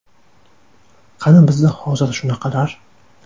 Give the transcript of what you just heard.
Qani bizda hozir shunaqalar?..